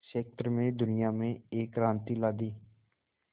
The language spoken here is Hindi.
क्षेत्र में दुनिया में एक क्रांति ला दी